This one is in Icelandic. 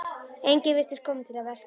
Enginn virtist kominn til að versla.